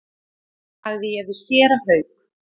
sagði ég við séra Hauk.